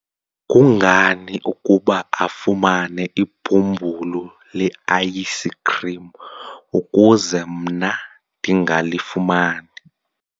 kungani ukuba afumane ibhumbulu le-ayisikhrim ukuze mna ndingalifumani?